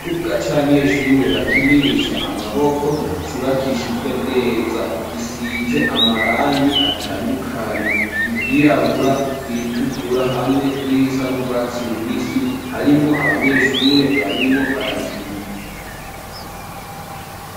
Ikibuga, c'abanyeshure, bakinisha amaboko, cubakishijwe neza, gisize amarangi, atandukanye, iryirabura, iritukura, hamwe n'irisa n'urwatsi rubisi; harimwo abanyeshure, barimwo barakina.